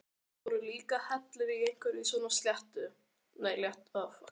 Það voru líka allir hérna í einhverju svona léttu.